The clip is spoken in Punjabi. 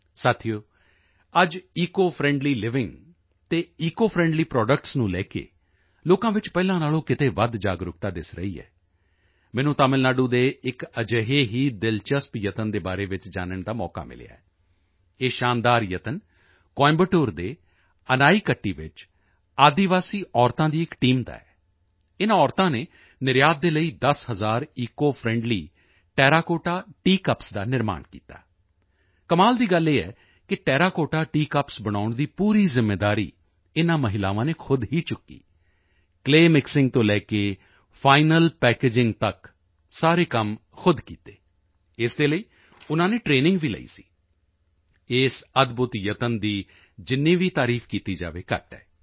ਸਾਥੀਓ ਅੱਜ ਈਕੋ ਫਰੈਂਡਲੀ ਲਿਵਿੰਗ ਅਤੇ ਈਕੋ ਫਰੈਂਡਲੀ ਪ੍ਰੋਡੱਕਟਸ ਨੂੰ ਲੈ ਕੇ ਲੋਕਾਂ ਵਿੱਚ ਪਹਿਲਾਂ ਨਾਲੋਂ ਕਿਤੇ ਵੱਧ ਜਾਗਰੂਕਤਾ ਦਿਸ ਰਹੀ ਹੈ ਮੈਨੂੰ ਤਮਿਲ ਨਾਡੂ ਦੇ ਇੱਕ ਅਜਿਹੇ ਹੀ ਦਿਲਚਸਪ ਯਤਨ ਦੇ ਬਾਰੇ ਵਿੱਚ ਜਾਨਣ ਦਾ ਮੌਕਾ ਮਿਲਿਆ ਇਹ ਸ਼ਾਨਦਾਰ ਯਤਨ ਕੋਇੰਬਟੂਰ ਦੇ ਅਨਾਈਕੱਟੀ ਵਿੱਚ ਆਦਿਵਾਸੀ ਮਹਿਲਾਵਾਂ ਦੀ ਇੱਕ ਟੀਮ ਦਾ ਹੈ ਇਨ੍ਹਾਂ ਮਹਿਲਾਵਾਂ ਨੇ ਨਿਰਯਾਤ ਦੇ ਲਈ 10 ਹਜ਼ਾਰ ਈਕੋ ਫਰੈਂਡਲੀ ਟੇਰਾਕੋਟਾ ਟੀਕੱਪਸ ਦਾ ਨਿਰਮਾਣ ਕੀਤਾ ਕਮਾਲ ਦੀ ਗੱਲ ਤਾਂ ਇਹ ਹੈ ਕਿ ਟੇਰਾਕੋਟਾ ਟੀਕੱਪਸ ਬਣਾਉਣ ਦੀ ਪੂਰੀ ਜ਼ਿੰਮੇਵਾਰੀ ਇਨ੍ਹਾਂ ਮਹਿਲਾਵਾਂ ਨੇ ਖ਼ੁਦ ਹੀ ਚੁੱਕੀ ਕਲੇਅਮਿਕਸਿੰਗ ਤੋਂ ਲੈ ਕੇ ਫਾਈਨਲ ਪੈਕੇਜਿੰਗ ਤੱਕ ਸਾਰੇ ਕੰਮ ਖ਼ੁਦ ਕੀਤੇ ਇਸ ਦੇ ਲਈ ਉਨ੍ਹਾਂ ਨੇ ਟਰੇਨਿੰਗ ਵੀ ਲਈ ਸੀ ਇਸ ਅਦਭੁਤ ਯਤਨ ਦੀ ਜਿੰਨੀ ਵੀ ਤਾਰੀਫ ਕੀਤੀ ਜਾਵੇ ਘੱਟ ਹੈ